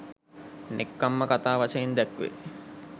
නෙක්ඛම්ම කථා වශයෙන් දැක්වෙයි.